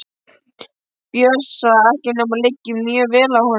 Bjössa, ekki nema liggi mjög vel á honum.